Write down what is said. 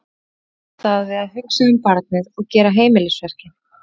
Þau hjálpast að við að hugsa um barnið og gera heimilisverkin.